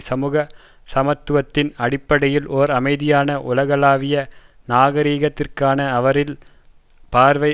சமூக சமத்துவத்தின் அடிப்படையில் ஓர் அமைதியான உலகளாவிய நாகரீகத்திற்கான அவரின் பார்வை